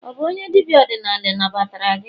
ọ bu onye dibia odinala nagbatara gi?